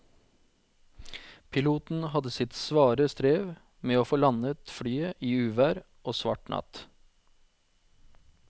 Piloten hadde sitt svare strev med å få landet flyet i uvær og svart natt.